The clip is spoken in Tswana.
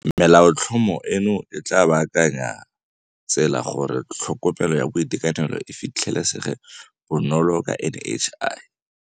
Melaotlhomo eno e tla baakanya tsela gore tlho komelo ya boitekanelo e fitlhe lesege bonolo ka NHI.